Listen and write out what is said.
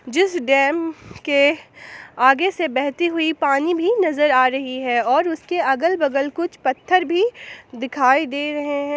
जिस डैम के आगे से बहती हुई पानी भी नजर आ रही है और उसके अगल बगल कुछ पत्थर भी दिखाई दे रहे हैं।